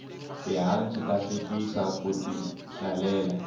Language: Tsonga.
tihanci ta hlekisa ku ti hlalela